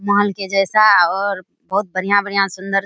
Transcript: mall के जैसा और बहुत बढ़िया-बढ़िया सुंदर --